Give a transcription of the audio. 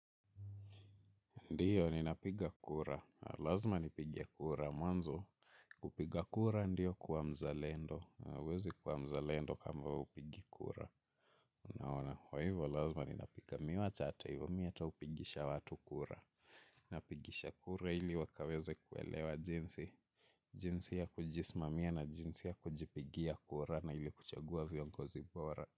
Ndiyo, ninapiga kura. Lazma nipige kura. Mwanzo, kupiga kura ndiyo kuwa mzalendo. Huwezi kuwa mzalendo kama huwa upigi kura. Unaona, jwaivo, lazma ninapiga. Mimi wacha hata hivyo, mimi hata hupigisha watu kura. Napigisha kura ili wakaweze kuelewa jinsi. Jinsi ya kujisimamia na jinsi ya kupiga kura na ili kuchagua viongozi bora.